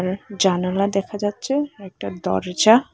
জানালা দেখা যাচ্ছে একটা দরজা।